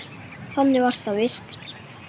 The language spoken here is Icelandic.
Þannig var það víst.